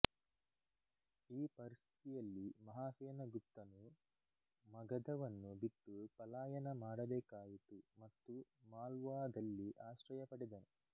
ಈ ಪರಿಸ್ಥಿತಿಯಲ್ಲಿ ಮಹಾಸೇನಗುಪ್ತನು ಮಗಧವನ್ನು ಬಿಟ್ಟು ಪಲಾಯನ ಮಾಡಬೇಕಾಯಿತು ಮತ್ತು ಮಾಲ್ವಾದಲ್ಲಿ ಆಶ್ರಯ ಪಡೆದನು